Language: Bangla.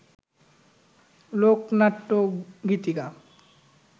লোকনাট্য, গীতিকা